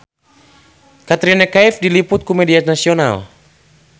Katrina Kaif diliput ku media nasional